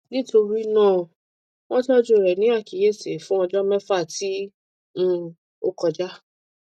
nitorinaa wọn tọju rẹ ni akiyesi fun ọjọ mẹfa ti um o kọja